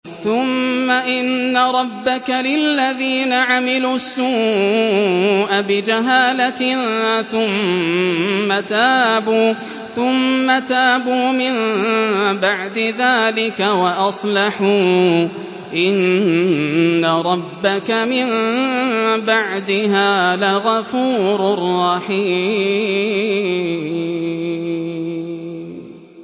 ثُمَّ إِنَّ رَبَّكَ لِلَّذِينَ عَمِلُوا السُّوءَ بِجَهَالَةٍ ثُمَّ تَابُوا مِن بَعْدِ ذَٰلِكَ وَأَصْلَحُوا إِنَّ رَبَّكَ مِن بَعْدِهَا لَغَفُورٌ رَّحِيمٌ